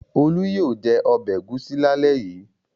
Olú yóò jẹ ọbẹ̀ ẹ̀gúsí lálẹ́ yìí.